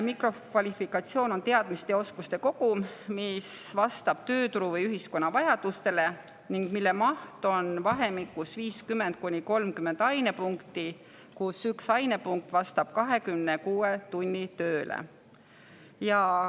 Mikrokvalifikatsioon on teadmiste ja oskuste kogum, mis vastab tööturu või ühiskonna vajadustele ning mille maht on vahemikus 50–30 ainepunkti, kusjuures üks ainepunkt vastab 26 tunnile tööle.